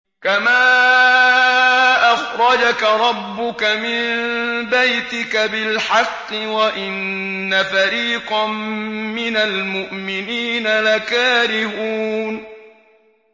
كَمَا أَخْرَجَكَ رَبُّكَ مِن بَيْتِكَ بِالْحَقِّ وَإِنَّ فَرِيقًا مِّنَ الْمُؤْمِنِينَ لَكَارِهُونَ